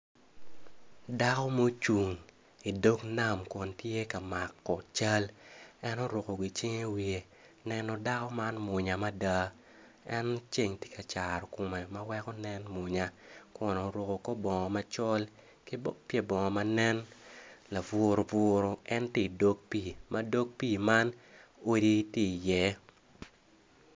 Dako mucung i nget nam kun tye ka mako cal en oruko gicing i wiye neno dako man mwonya mada en ceng tye ka caro kome ma weko nen mwonya mada kun oruko kor bongo macol ki pye bongo ma nen laburuburu ma dog pii man odi tye iye.